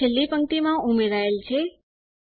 તે છેલ્લી પંક્તિમાં ઉમેરાયેલ છે